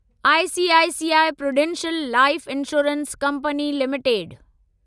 ICICI Prudential Life Insurance Company limited